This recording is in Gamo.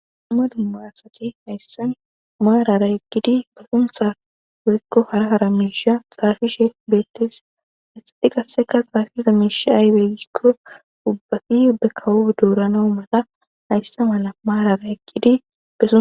Dumma dumma asati hayssan maarara ekkidi suntha woyykko hara hara miisha xaafishe beettes essati qasseka baafiza miisha aaybegikko ubbafi ube kawo douranawu mata hayssa mala maarara ekkidi be